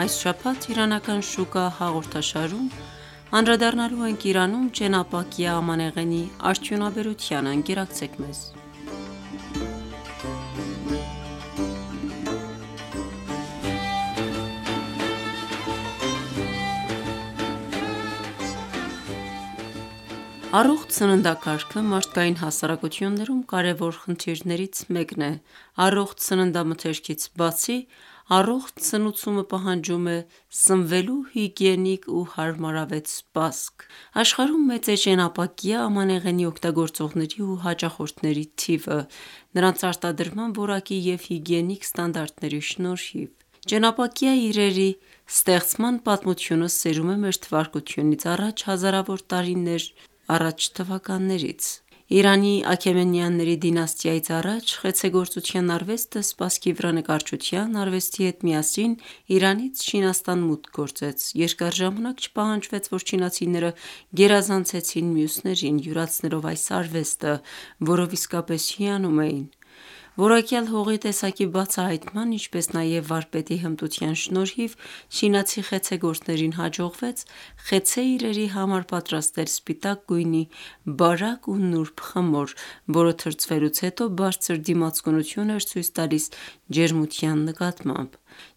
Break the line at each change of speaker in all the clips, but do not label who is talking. Այս շաբաթ «Իրանական շուկա» հաղորդաշարում անդրադառնալու ենք Իրանում Ճենապակյա ամանեղենի արդյունաբերությանը: Առողջ սննդակարգը մարդկային հասարակություններում կարևոր խնդիրներից մեկն է: Առողջ սննդամթերքից բացի, առողջ սնուցումը պահանջում է սնվելու հիգիենիկ ու հարմարավետ սպասք: Աշխարհում մեծ է ճենապակյա ամանեղենի օգտագործողների ու հաճախորդների թիվը նրանց արտադրման որակի և հիգիենիկ ստանդարտների շնորհիվ: Ճենապակյա իրերի ստեղծման պատմությունը սերում է մթ հազարավոր տարիներ առաջ թվականներից: Իրանի Աքեմենյանների դինաստիայից առաջ (մթա 550-330) խեցեգործության արվեստը սպասքի վրա նկարչության արվեստի հետ միասին Իրանից Չինաստան մուտք գործեց: Երկար ժամանակ չպահանջվեց, որ չինացիները գերազանցեցին մյուսներին՝ յուրացնելով այս արվեստը, որով իսկապես հիանում էին: Որակյալ հողի տեսակի բացահայտման, ինչպես նաև վարպետի հմտության շնորհիվ չինացի խեցեգործներին հաջողվեց խեցե իրերի համար պատրաստել սպիտակ գույնի, բարակ ու նուրբ խմոր, որը թրծվելուց հետո բարձր դիմացկունություն էր ցույց տալիս ջերմության նկատմամբ: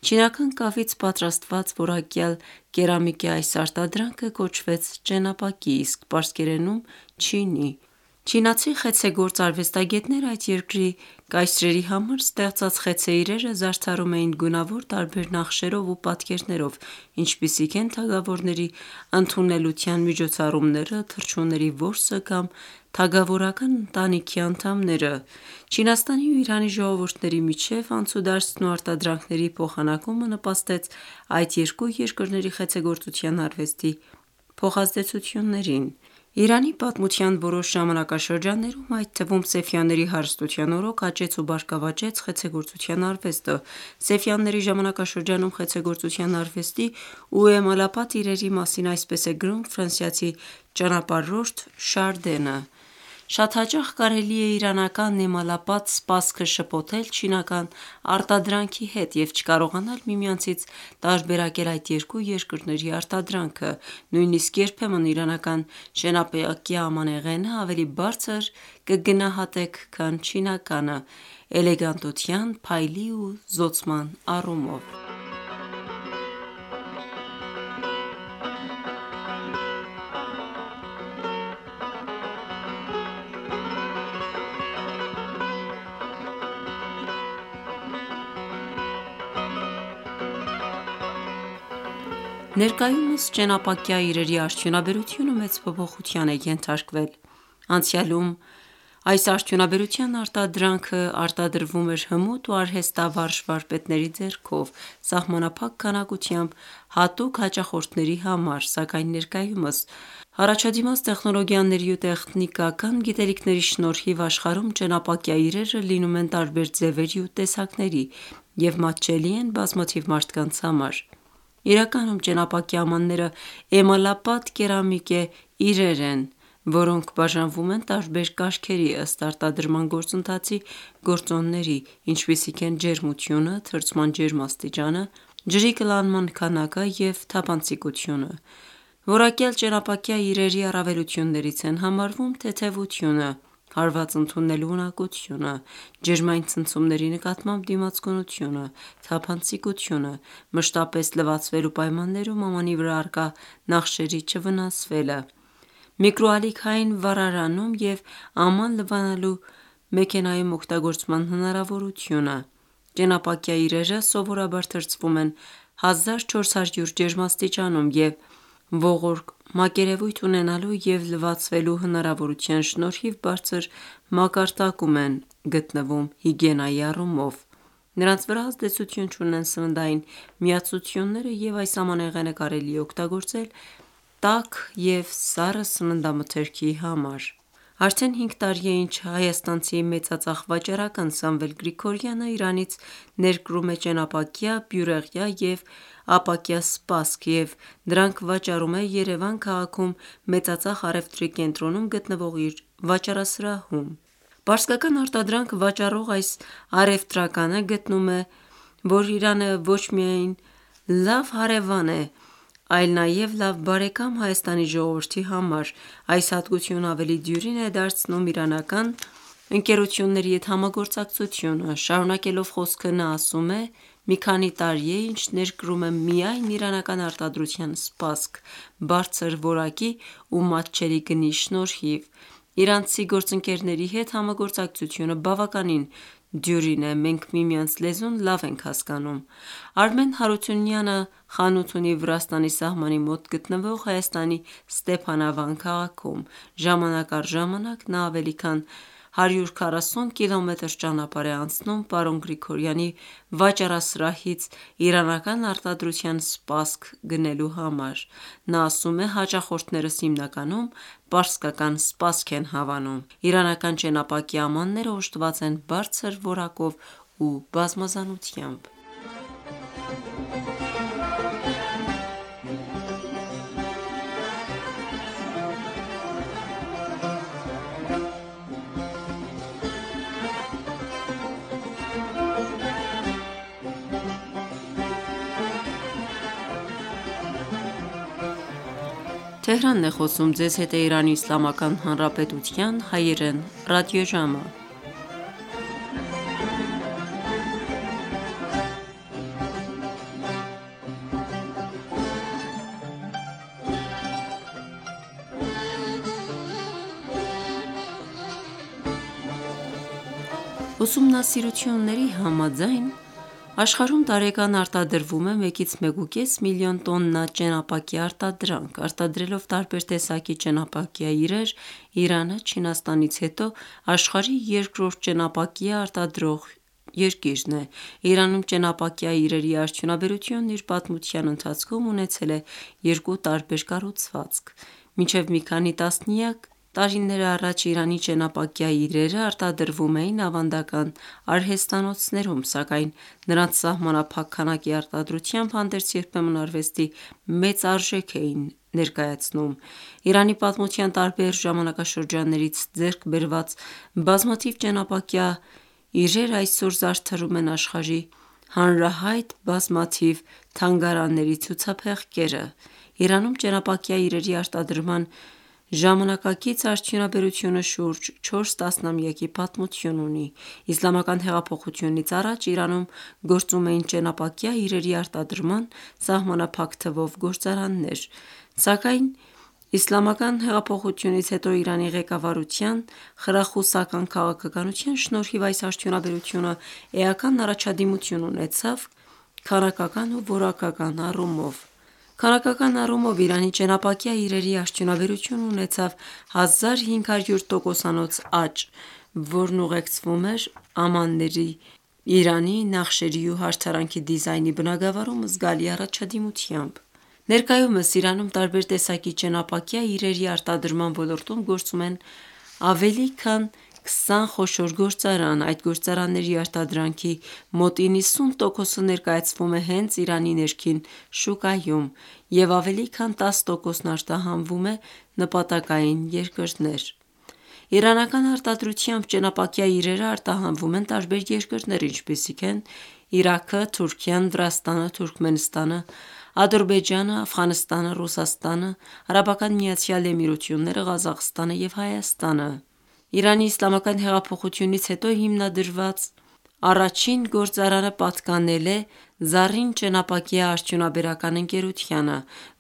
Չինական կավից պատրաստված, որակյալ կերամիկե այս արտադրանքը կոչվեց ճենապակի, իսկ պարսկերենում «չինի»: Չինացի խեցեգործ արվեստագետները այդ երկրի կայսրերի համար ստեղծած խեցե իրերը զարդարում էին գունավոր տարբեր նախշերով ու պատկերներով, ինչպիսիք են թագավորների ընդունելության միջոցառումները, թռչունների որսը կամ թագավորական ընտանիքի անդամները: Չինաստանի ու Իրանի ժողովուրդների միջև անցուդարձն ու արտադրանքների փոխանակումը նպաստեց այդ երկու երկրների խեցեգործության արվեստի փոխազդեցություններին: Իրանի պատմության որոշ ժամանակաշրջաններում, այդ թվում Սեֆյանների հարստության օրոք, աճեց ու բարգավաճեց խեցեգործության արվեստը: Սեֆյանների ժամանակաշրջանում խեցեգործության արվեստի ու էմալապատ իրերի մասին այսպես է գրում ֆրանսիացի ճանապարհորդ Շարդենը (1643-1713թթ.). «Շատ հաճախ կարելի է իրանական էմալապատ սպասքը շփոթել չինական արտադրանքի հետ և չկարողանալ միմյանցից տարբերակել այդ երկու երկրների արտադրանքը: Նույնիսկ երբեմն իրանական ճենապակյա ամանեղենը ավելի բարձր կգնահատեք քան չինականը՝ էլեգանտության, փայլի ու զօծման առումով»: Ներկայումս ճենապակյա իրերի արդյունաբերությունը մեծ փոփոխության է ենթարկվել: Անցյալում այս արդյունաբերության արտադրանքն արտադրվում էր հմուտ ու արհեստավարժ վարպետների ձեռքով սահմանափակ քանակությամբ հատուկ հաճախորդների համար, սակայն ներկայումս առաջադիմած տեխնոլոգիաների ու տեխնիկական գիտելիքների շնորհիվ աշխարհում ճենապակյա իրերը լինում են տարբեր ձևերի ու տեսակների և մատչելի են բազմաթիվ մարդկանց համար: Իրականում, ճենապակյա ամանները էմալապատ կերամիկե իրեր են, որոնք բաժանվում են տարբեր կարգերի ըստ արտադրման գործընթացի գործոնների, ինչպիսիք են ջերմությունը, թրծման ջերմաստիճանը, ջրի կլանման քանակը և թափանցիկությունը (լույսն անցկացնելու աստիճանը): Որակյալ ճենապակյա իրերի առավելություններից են համարվում թեթևությունը, հարված ընդունելու ունակությունը, ջերմային ցնցումների նկատմամբ դիմացկունությունը, թափանցիկությունը, մշտապես լվացվելու պայմաններում ամանի վրա առկա նախշերի չվնասվելը, միկրոալիքային վառարանում և աման լվանալու մեքենայում օգտագործման հնարավորությունը:Ճենապակյա իրերը սովորաբար թրծվում են 1400 ջերմաստիճանում և ողորկ մակերևույթ ունենալու և լվացվելու հնարավորության շնորհիվ բարձր մակարդակում են գտնվում հիգիենայի առումով: Նրանց վրա ազդեցություն չունեն սննդային միացությունները և այս ամանեղենը կարելի է օգտագործել տաք և սառը սննդամթերքի համար: Արդեն հինգ տարի է, ինչ Հայաստանցի մեծածախ վաճառական Սամվել Գրիգորյանը Իրանից ներկրում է ճենապակյա, բյուրեղյա և ապակյա սպասք և դրանք վաճառում Երևան քաղաքում մեծածախ առևտրի կենտրոնում գտնվող իր վաճառասրահում: Պարսկական արտադրանք վաճառող այս առևտրականը գտնում է. «Իրանը ոչ միայն լավ հարևան է, այլ նաև լավ բարեկամ Հայաստանի ժողովրդի համար այս հատկությունը ավելի դյուրին է դարձնում իրանական ընկերությունների հետ համագործակցությունը:» Շարունակելով խոսքը նա ասում է. «մի քանի տարի է, ինչ ներկրում է միայն իրանական արտադրության սպասք բարձր որակի ու մատչելի գնի շնորհիվ: Իրանցի գործընկերների հետ համագործակցությունը բավականին դյուրին է, մենք միմյանց լեզուն լավ ենք հասկանում»: Արմեն Հարությունյանը խանութ ունի Վրաստանի սահմանի մոտ գտնվող Հայաստանի Ստեփանավան քաղաքում: Ժամանակ առ ժամանակ նա ավելի քան 140 Կմ ճանապարհ է անցնում պարոն Գրիգորյանի վաճառասրահից իրանական արտադրության սպասք գնելու համար: նա աում է. «Հաճախորդներս հիմնականում պարսկական սպասք են հավանում»: Ուսումնասիրությունների համաձայն այսպես է գնահատվել, որ աշխարհում տարեկան արտադրվում է 1-1.5 միլիոն տոննա ճենապակյա արտադրանք: Արտադրելով տարբեր տեսակի ճենապակյա իրեր, Իրանը Չինաստանից հետո աշխարհի երկրորդ ճենապակյա արտադրողն է: Իրանում ճենապակյա իրերի արդյունաբերությունն իր պատմության ընթացքում ունեցել երկու տարբեր կառուցվածք: Մինչև մի քանի տասնյակ տարիներ առաջ Իրանի ճենապակյա իրերը արտադրվում էին ավանդական արհեստանոցներում, սակայն նրանց սահամանափակ քանակի արտադրությամբ հարդերձ երբեմն արվեստի մեծ արժեք էին ներկայացնում: Իրանի պատմության տարբեր ժամանակաշրջաններից ձեռք բերված բազմաթիվ ճենապակյա իրեր այսօր զարդարում են աշխարհի հանրահայտ բազմաթիվ թանգարանների ցուցափեղկերը: Իրանում ճենապակյա իրերի արտադրման ժամանակակից արդյունաբերությունը շուրջ չորս տասնամյակի պատմություն ունի: Իսլամական Հեղափոխությունից առաջ Իրանում գործում էին ճենապակյա իրերի արտադրման՝ սահմանափակ թվով գործարաններ: Սակայն Իսլամական Հեղափոխությունից հետո Իրանի ղեկավարության խրախուսական քաղաքականության շնորհիվ այս արդյունաբերությունը էական առաջադիմություն ունեցավ քանակական ու որակական առումով: Քանակական առումով Իրանի ճենապակյա իրերի արդյունաբերությունը ունեցավ 1500 տոկոսանոց աճ, որն ուղեկցվում էր ամանների իրանի, նախշերի ու հարդարանքի դիզայնի բնագավառում զգալի առաջադիմությամբ: Ներկայումս Իրանում տարբեր տեսակ ճենապակյա իրերի արտադրման ոլորտում գործում են ավելի քան 20 խոշոր գործարան: Այդ գործարանների արտադրանքի մոտ 90 տոկոսը ներկայացվում է հենց Իրանի ներքին շուկայում և ավելի քան 10 տոկոսն արտահանվում նպատակային երկրներ: Իրանական արտադրությամբ ճենապակյա իրերն արտահանվում են տարբեր երկրներ, այդ թվում Իրաք, Թուրքիա, Վրաստան, Թուրքմենստան, Ադրբեջան, Աֆղանստան, Ռուսաստան, ԱՄԷ, Ղազախստան և Հայաստան: Իրանի Իսլամական Հեղափոխությունից հետո հիմնադրված առաջին գործարանը պատկանել է «Զառին» ճենապակյա արդյունաբերական ընկերությանը,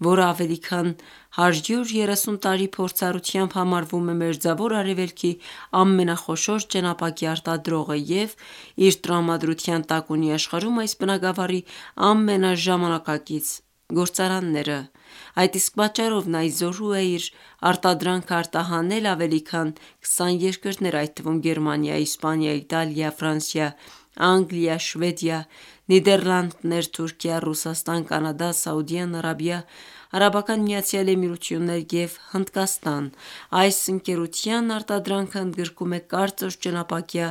որը ավելի քան 130 տարի փորձառությամբ համարվում է մերձավոր Արևելքի ամենախոշոր ճենապակյա արտադրողը և իր տրամադրության տակ ունի աշխարհում այս բնագավառի ամենաժամանակակից գործարանները: Այդ իսկ պատճառով նա ի զորու է իր արտադրանքն արտահանել ավելի քան 20 երկրներ, այդ թվում գերմանիա, Իսպանիա, Իտալիա, Ֆրանսիա, Անգլիա, Շվեդիա, Նիդեռլանդներ, Թուրքիա, Ռուսաստան, Կանադա, Սաուդիան Արաբիա, ԱՄԷ և Հնդկաստան: Այս ընկերության արտադրանքը ընդգրկում է կարծր ճենապակյա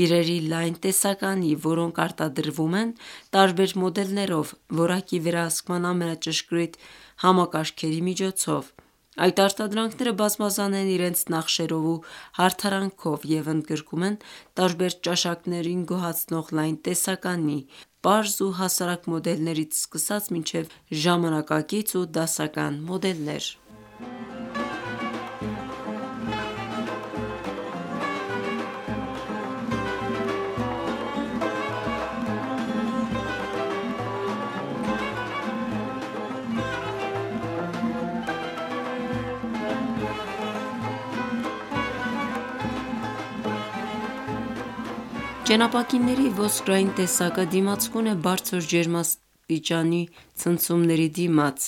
իրերի (Fine Hard Porcelain) լայն տեսականի, որոնք արտադրվում են տարբեր մոդելներով որակի վերահսկման ամենաճշգրիտ համակարգերի միջոցով: Այդ արտադրանքները բազմազան են իրենց նախշերով ու հարդարանքով և ընդգրկում տարբեր ճաշակներին գոհացնող լայն տեսականի՝ պարզ ու հասարակ մոդելներից սկսած մինչև ժամանակակից ու դասական մոդելներ: Ճենապակիների «ոսկորային» տեսակը դիմացկուն է բարձր ջերմային ցնցումների դիմաց,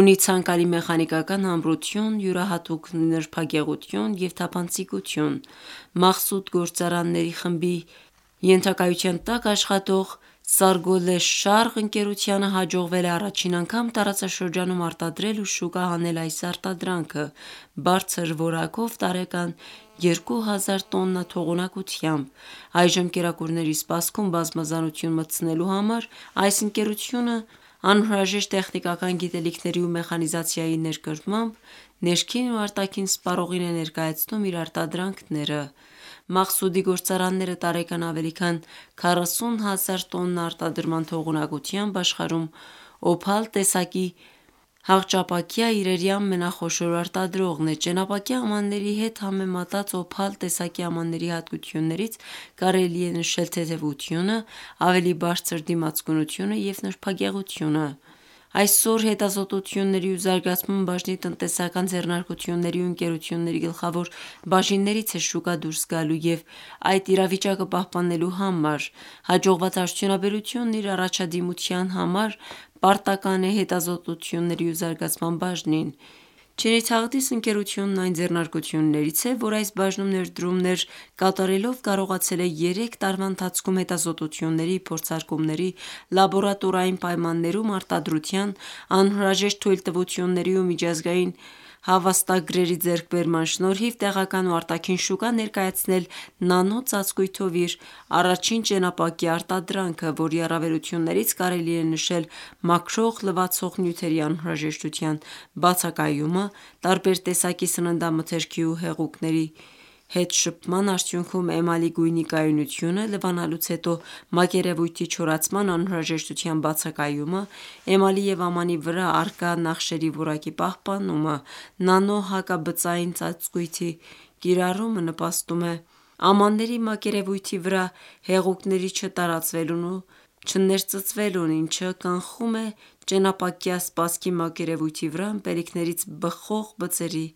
ունի ցանկալի մեխանիկական ամրություն, յուրահատուկ նրբագեղություն և թափանցիկություն: «Մաղսուդ» գործարանների խմբի ենթակայության տակ աշխատող «Սարգոլե-Շարղ» ընկերությանը հաջողվել է առաջին անգամ տարածաշրջանում արտադրել ու շուկա հանել այս արտադրանքը բարձր որակով տարեկան 2 հազար տոննա թողունակությամբ: Այժմ կերակուրների սպասքում բազմազանություն մտցնելու համար այս ընկերությունը անհրաժեշտ տեխնիկական գիտելիքների ու մեխանիզացիայի ներկրմամբ ներքին ու արտաքին սպառողին է ներկայացնում իր արտադրանքները: «Մաղսուդ»-ի գործարանները տարեկան ավելի քան 40 հազար տոննա արտադրման թողունակությամբ աշխարհում «Օփալ» տեսակի հաղճապակյա իրերի ամենախոշոր արտադրողն է: Ճենապակյա ամանների հետ համեմատած «Օփալ» տեսակի ամանների հատկություններից կարելի է նշել թեթևությունը, ավելի բարձր դիմացկունությունը և նրբագեղությունը: Այսօր հետազոտությունների ու զարգացման բաժինը տնտեսական ձեռնարկությունների ու ընկերությունների գլխավոր բաժիններից է շուկա դուրս գալու և այդ իրավիճակը պահպանելու համար: Հաջողված արդյունաբերությունը իր առաջադիմության համար պարտական է հետազոտությունների ու զարգացման բաժնին: «Չինի Թաղդիս» ընկերությունը այն ձեռնարկություններից է, որ այս բաժնում ներդրումներ կատարելով կարողացել է երեք տարվա ընթացքում հետազոտությունների, փորձարկումների, լաբորատորային պայմաններում արտադրության, անհրաժեշտ թույլտվությունների ու միջազգային հավաստագրերի ձեռքբերման շնորհիվ տեղական ու արտաքին շուկա ներկայացնել նանո ծածկույթով իր առաջին ճենապակյա արտադրանքը, որի առավելություններից կարելի է նշել մաքրող-լվացող նյութերի անհրաժեշտության բացակայումը, տարբեր տեսակի սննդամթերքի ու հեղուկների (թեյ ու սուրճ) հետ շփման արդյունքում էմալի գույնի կայունությունը, լվանալուց հետո մակերևույթի չորացման անհրաժեշտության բացակայումը, էմալի և ամանի վրա առկա նախշերի որակի պահպանումը: Նանո հակաբծային ծածկույթի կիրառումը նպաստում է ամանների մակերևույթի վրա հեղուկների չտարածվելուն ու չներծծվելուն, ինչը կանխում էճենապակյա սպասքի մակերևույթի վրա ըմպելիքներից բխող բծերի